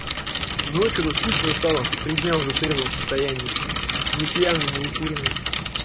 ну что-то скучно стало три дня уже в трезвом состоянии не пьяный не укуренный